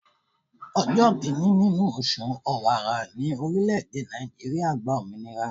Ọjọ́ kìíní nínú oṣù Ọ̀wàrà ní orílẹ̀-èdè Nàìjíríà gba òmìnira.